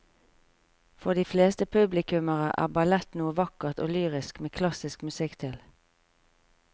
For de fleste publikummere er ballett noe vakkert og lyrisk med klassisk musikk til.